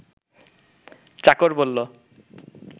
চাকর বলল